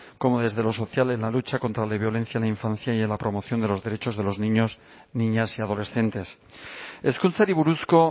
como desde lo social en la lucha contra la violencia en la infancia y a la promoción de los derechos de los niños niñas y adolescentes hezkuntzari buruzko